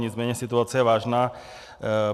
Nicméně situace je vážná.